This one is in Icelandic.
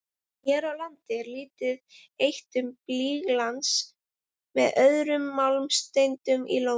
Hér á landi er lítið eitt um blýglans með öðrum málmsteindum í Lóni.